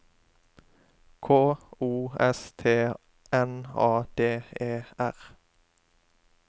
K O S T N A D E R